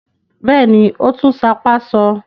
Bẹ́ẹ̀ ni, ó tún sápá sọ.